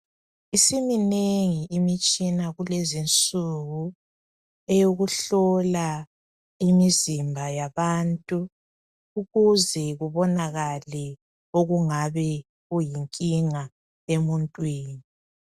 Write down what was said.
Isiminengi imitshina kulezinsuku eyokuhlola imizimba yabantu. Ukuze kubonakale okungabe kuyinkinga emuntwini.